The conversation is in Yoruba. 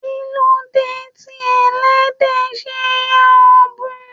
Kilode tí ẹlẹdẹ ṣe yà ọbun?